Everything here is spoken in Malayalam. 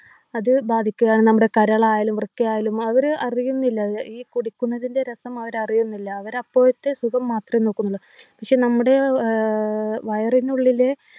അത് ബാധിക്കുകയാണ് നമ്മുടെ കരളായാലും വൃക്കയായാലും അവര് അറിയുന്നില്ല ഏർ ഈ കുടിക്കുന്നതിൻ്റെ രസം അവരറിയുന്നില്ല അവരപ്പോഴത്തെ സുഖം മാത്രേ നോക്കുന്നുള്ളു പക്ഷെ നമ്മുടെ ഏർ ഏർ വയറിനുള്ളിലെ